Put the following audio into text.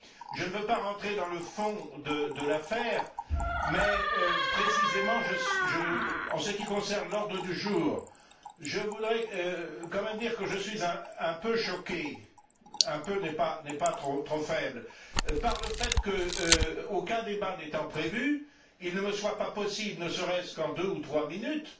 Je ne veux pas rentrer dans le fond de l'affaire mais, précisément, en ce qui concerne l'ordre du jour, je voudrais quand même dire que je suis un peu choqué un peu n'est pas trop faible par le fait qu'aucun débat n'étant prévu, il ne me soit pas possible, ne serait ce qu'en deux ou trois minutes,